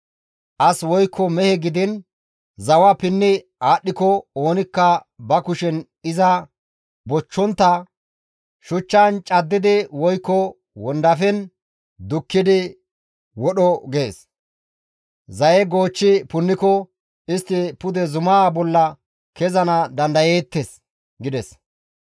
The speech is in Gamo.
As woykko mehe gidiin zawa pinni aadhdhiko oonikka ba kushen iza bochchontta shuchchan caddidi woykko wondafen dukkidi wodho› gees. Zaye goochchi punniko istti pude zumaa bolla kezana dandayeettes» gides.